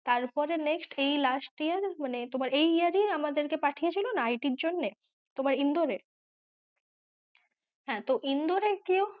তারপরে next এই last year মানে তোমার এই year এই আমাদের পাঠিয়েছিল না IIT এর জন্যে তোমার ইন্দোর এ হ্যাঁ তো ইন্দোর এ গিয়েও